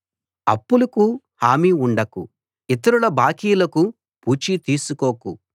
అప్పులకు హామీ ఉండకు ఇతరుల బాకీలకు పూచీ తీసుకోకు